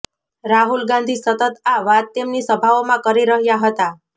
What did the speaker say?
રાહુલ ગાંધી સતત આ વાત તેમની સભાઓમાં કરી રહ્યાં હતા